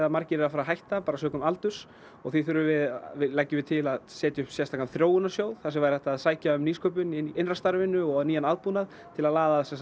margir eru að fara að hætta sökum aldurs og því leggjum við til að setja upp sérstakan þróunarsjóð þar sem væri hægt að sækja um nýsköpun í innra starfinu og nýjan aðbúnað til að laða að